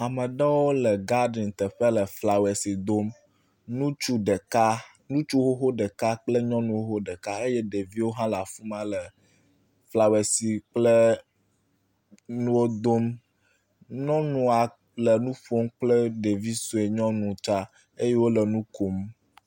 Ame aɖewo, ŋutsu ɖeka, ŋutsu xoxo ɖeka kple nyɔnu xoxo ɖeka eye ɖeviwo hã le afi ma le floersi kple nuwo dom, nyɔnua le nuƒom kple ɖevia nyɔnu tsa eye wonɔ nu kom